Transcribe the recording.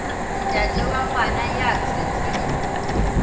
ntate wa ngwana ya tswetsweng